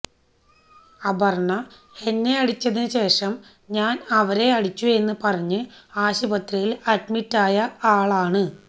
അപർണ എന്നെ അടിചതിന് ശേഷം ഞാൻ അവരെ അടിച്ചു എന്ന് പറഞ്ഞ് ആശുപത്രിയിൽ അഡ്മിറ്റായ ആളാണ്